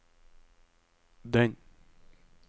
den